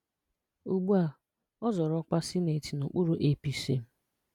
Ùgbùà ọ̀ zọrọ́ ọ́kwà Sínetọ n’okpùrú APC.